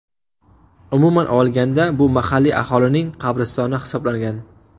Umuman olganda, bu mahalliy aholining qabristoni hisoblangan.